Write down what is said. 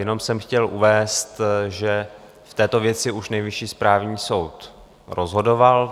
Jenom jsem chtěl uvést, že v této věci už Nejvyšší správní soud rozhodoval.